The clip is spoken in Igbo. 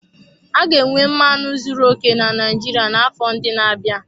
A ga-enwe mmanụ zuru oke na Naijiria n'afọ ndị na-abịa.